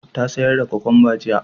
Ta sayar da kwakamba jiya